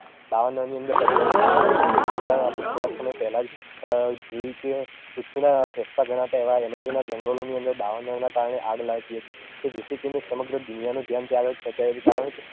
દાવાનળની અંદર પરિણમે છે જેનું એક શ્રેષ્ટ ઉદાહરણ આપડે થોડા સમય પેહલાં જ જોયું કે પૃથ્વીના ફેફસાં ગણાતા એવાં એમેજોનના જંગલોની અંદર દાવાનળના કારણે આગ લાગી હતી કે જેથી કરીને સમગ્ર દુનિયાનું ધ્યાન ત્યાં આગળ ખેચાયું હતું કારણ કે